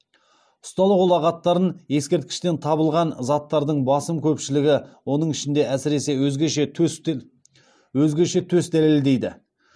ұсталық ұлағаттарын ескерткіштен табылған заттардың басым көпшілігі оның ішінде әсіресе өзгеше төс дәлелдейді